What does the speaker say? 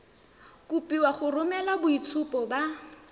kopiwa go romela boitshupo ba